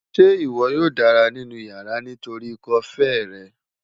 Ṣe iwọ yoo dara ninu yara nitori ikọ-fèé rẹ?